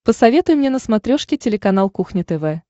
посоветуй мне на смотрешке телеканал кухня тв